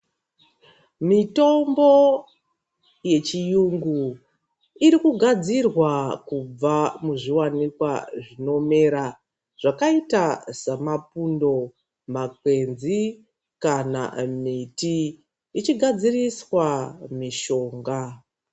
Mitombo yechiyungu irikugadzirwa kubva muzviwanikwa zvinomera zvakaita samapundo, makwenzi kana miti ichigadziriswa mishonga.